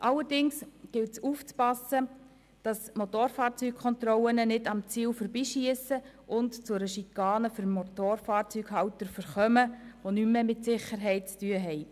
Allerdings gilt es aufzupassen, dass die Motorfahrzeugkontrollen nicht am Ziel vorbeischiessen und zu einer Schikane für Motorfahrzeughalter verkommen, die nichts mehr mit Sicherheit zu tun hat.